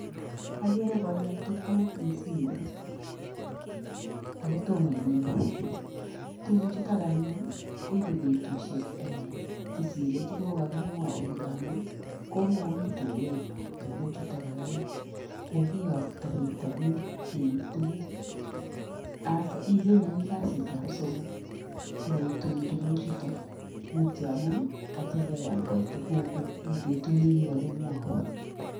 Agere koil tukuk eng simoit, akotoma inyoru. Tukuchutok anyun kiibei betishek kosir chekokakimwaun, amun komakoni tukenyo tukuchutok, kokiyokta bitonin keib tukuk as ikeny agoi kasiab somok sikoitun tukuchutok. Mutyo amun kachelewan koit tukukuk kou betut ne kikakimwaun.